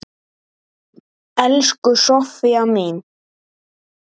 Elsku Soffía mín.